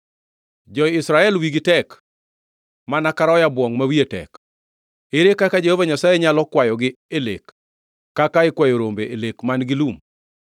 Jo-Israel wigi tek mana ka roya bwongʼ ma wiye tek. Ere kaka Jehova Nyasaye nyalo kwayogi e lek kaka ikwayo rombe e lek man-gi lum?